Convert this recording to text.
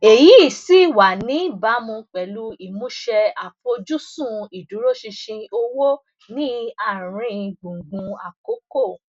èyí sì wà níbàámu pẹlú ìmúṣẹ àfojúsùn ìdúróṣinṣin owó ní àárín gbùngbùn àkókò